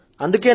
అవును సర్